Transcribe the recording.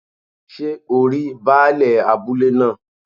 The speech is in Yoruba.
Sé o rí baálẹ̀ abúlé náà